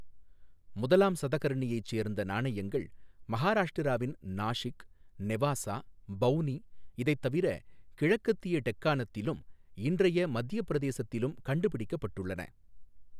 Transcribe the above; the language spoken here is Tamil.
முதலாம் சதகர்ணியைச் சேர்ந்த நாணயங்கள் மஹாராஷ்டிராவின் நாஷிக், நெவாசா, பௌனி, இதைத் தவிர கிழக்கத்திய டெக்கணத்திலும் இன்றைய மத்தியப் பிரதேசத்திலும் கண்டுபிடிக்கப்பட்டுள்ளன.